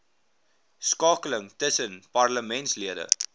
skakeling tussen parlementslede